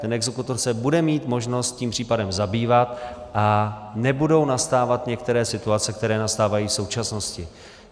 Ten exekutor se bude mít možnost tím případem zabývat a nebudou nastávat některé situace, které nastávají v současnosti.